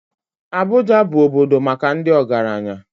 Abuja bụ obodo maka ndị ọgaranya